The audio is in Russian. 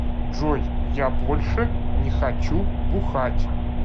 джой я больше не хочу бухать